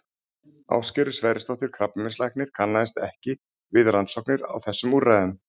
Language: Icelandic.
Ásgerður Sverrisdóttir krabbameinslæknir kannaðist ekki við rannsóknir á þessum úrræðum.